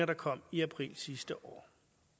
der kom i april sidste år